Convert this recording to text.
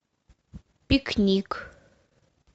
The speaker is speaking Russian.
пикник